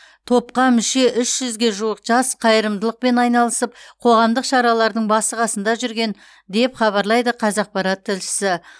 топқа мүше үш жүзге жуық жас қайырымдылықпен айналысып қоғамдық шаралардың басы қасында жүрген деп хабарлайды қазақпарат тілшісі